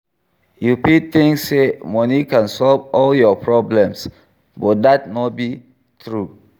You fit think say money can solve all your problems, but dat no be true.